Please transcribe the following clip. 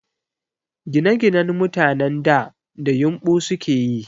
Ginaginan mutanen da, da yumɓu sukeyi